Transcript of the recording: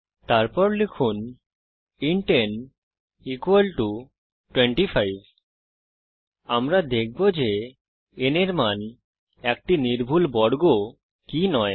তারপর লিখুন int n 25 আমরা দেখব যে n এর মান একটি নির্ভুল বর্গ কি নয়